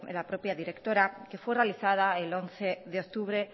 la propia directora que fue realizada el once de octubre